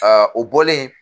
o bɔlen